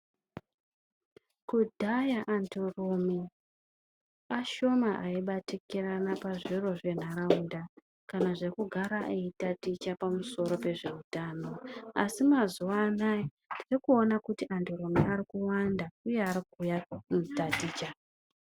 Kudhaya anhurume ashoma aibatikirana pazviro zvenharaunda, kana zvekugara eitaticha pamusoro pezveutano. Asi mazuwa anaya tiri kuona kuti anhurume arikuwanda uye arikuuya kotaticha.